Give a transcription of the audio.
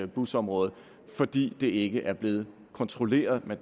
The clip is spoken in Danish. busområdet fordi det ikke er blevet kontrolleret